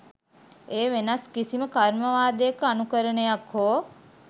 එය වෙනත් කිසිම කර්මවාදයක අනුකරණයක් හෝ